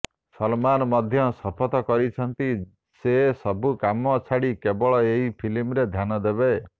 ସଲମାନ ମଧ୍ୟ ଶପଥ କରିଛନ୍ତି ସେ ସବୁ କାମ ଛାଡି କେବଳ ଏହି ଫିଲ୍ମ ଧ୍ୟାନ ଦେବେ